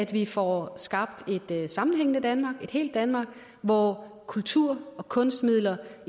vi får skabt et sammenhængende danmark et helt danmark hvor kultur og kunstmidler